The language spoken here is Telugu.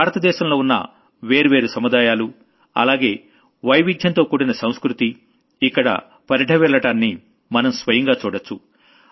భారత దేశంలో ఉన్న వేర్వేరు సముదాయాలు అలాగే వైవిధ్యంతో కూడిన సంస్కృతి ఇక్కడ పరిఢవిల్లడాన్ని మనం స్వయంగా చూడొచ్చు